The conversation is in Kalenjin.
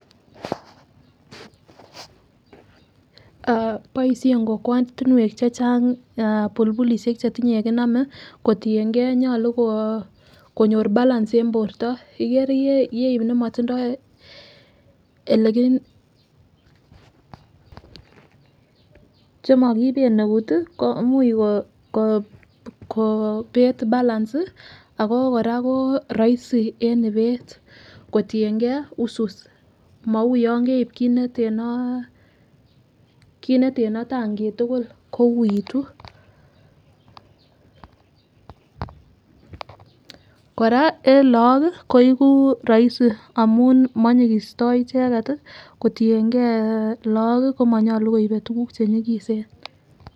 Ah boishen kokwetunwek chechang bulbulishek chetinye yekinome kotiyengee nyolu kokonyor balance en borto , ikere yeib nemotindo eleki chemokiben eut tii imuch ko kobet balance sii ako Koraa ko roisi en ibet kotiyengee usus mou yon keib kit netenoo kit neteno tankit tukuk ko uitu Koraa en lok kii koiku roisi amun monyikisto icheket tii kotiyengee lok kii komonyolu koibe tukuk chenyikisen.